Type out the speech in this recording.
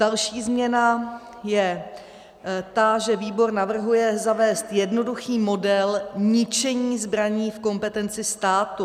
Další změna je ta, že výbor navrhuje zavést jednoduchý model ničení zbraní v kompetenci státu.